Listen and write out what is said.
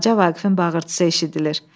Balaca Vaqifin bağırtısı eşidilir.